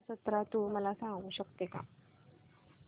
रथ जत्रा तू मला सांगू शकतो का